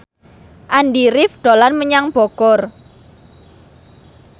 Andy rif dolan menyang Bogor